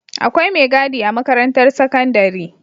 Akwai me gadi a makarantar sakandari